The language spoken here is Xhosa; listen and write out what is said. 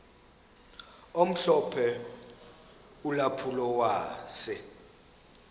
omhlophe ulampulo wase